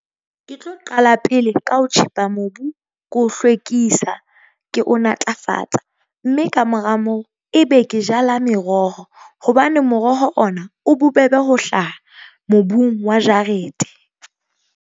Ke tlo qala pele ka ho tjhepa mobu, ke o hlwekisa, ke o natlafatsa. Mme ka mora moo ebe ke jala meroho hobane moroho ona o bobebe ho hlaha mobung wa jarete.